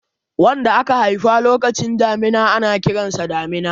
wanda aka haifa lokacin damina ana Kiransa damina